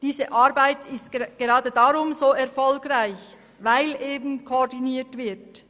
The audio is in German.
Diese Arbeit ist gerade deshalb so erfolgreich, koordiniert wird.